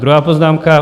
Druhá poznámka.